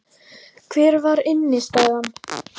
Hver var innistæðan?